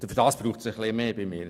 Dafür braucht es etwas mehr.